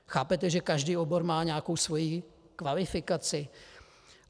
Chápete, že každý obor má nějakou svoji kvalifikaci?